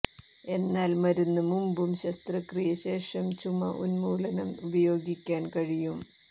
എന്നാൽ മരുന്ന് മുമ്പും ശസ്ത്രക്രിയ ശേഷം ചുമ ഉന്മൂലനം ഉപയോഗിക്കാൻ കഴിയും